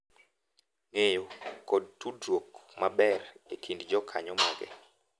Ng’eyo, kod tudruok maber e kind jokanyo mage.